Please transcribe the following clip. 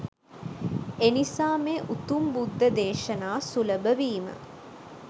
එනිසා මේ උතුම් බුද්ධ දේශනා සුලභ වීම